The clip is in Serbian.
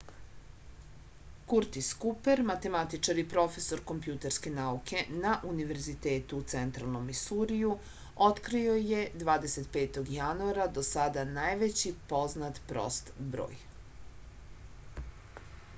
kurtis kuper matematičar i profesor kompjuterske nauke na univerzitetu u centralnom misuriju otkrio je 25. januara do sada najveći poznat prost broj